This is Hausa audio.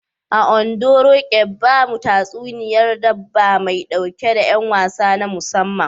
A Ondo, Roqeeb, bamu tatsuniyar dabba mai ɗauke da y'an wasa na musamman.